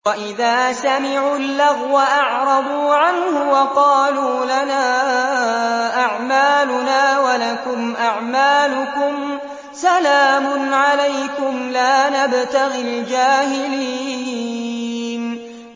وَإِذَا سَمِعُوا اللَّغْوَ أَعْرَضُوا عَنْهُ وَقَالُوا لَنَا أَعْمَالُنَا وَلَكُمْ أَعْمَالُكُمْ سَلَامٌ عَلَيْكُمْ لَا نَبْتَغِي الْجَاهِلِينَ